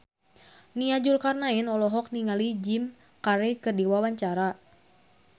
Nia Zulkarnaen olohok ningali Jim Carey keur diwawancara